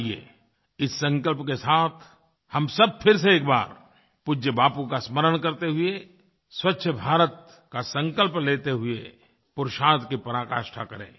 आइए इस संकल्प के साथ हम सब फिर से एक बार पूज्य बापू का स्मरण करते हुए स्वच्छभारत का संकल्प लेते हुए पुरुषार्थ की पराकाष्ठा करें